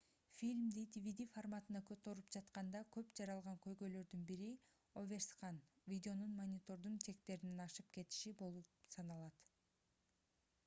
фильмди dvd форматына которуп жатканда көп жаралган көйгөйлөрдүн бири оверскан видеонун монитордун чектеринен ашык кетиши болуп саналат